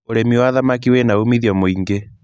ũrĩmi wa thamaki wĩna umithio mũingĩ.